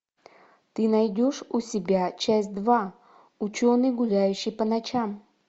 ты найдешь у себя часть два ученый гуляющий по ночам